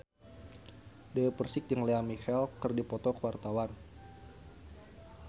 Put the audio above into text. Dewi Persik jeung Lea Michele keur dipoto ku wartawan